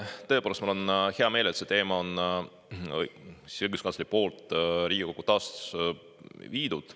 Tõepoolest, mul on hea meel, et õiguskantsler on selle teema Riigikokku toonud.